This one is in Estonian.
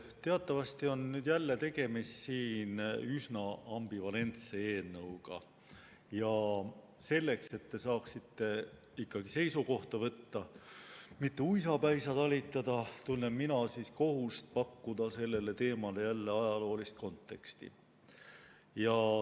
Teatavasti on siin jälle tegemist üsna ambivalentse eelnõuga ja selleks, et te saaksite seisukohta võtta, mitte ei peaks uisapäisa talitama, tunnen mina kohustust pakkuda sellele teemale jälle ajaloolist konteksti.